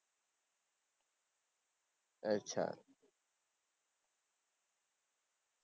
અચ્છા